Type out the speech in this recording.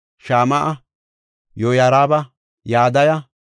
Shama7a, Yoyaariba, Yadaya,